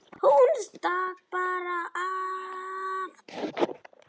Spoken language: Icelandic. Hún stakk bara af.